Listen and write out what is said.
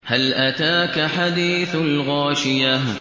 هَلْ أَتَاكَ حَدِيثُ الْغَاشِيَةِ